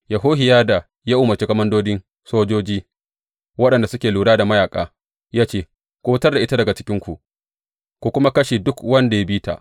Yehohiyada ya umarci komandodin sojoji waɗanda suke lura da mayaƙa, ya ce, Ku fitar da ita daga cikinku, ku kuma kashe duk wanda ya bi ta.